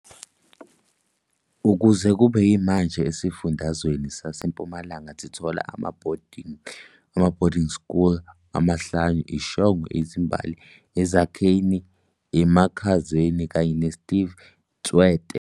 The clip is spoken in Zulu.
Kuze kube yimanje esifundazweni sase Mpumalanga sithola ama boarding school amahlanu, i-Shongwe, Izimbali, Ezakheni, Emakhazeni kanye ne Steve Tshwete.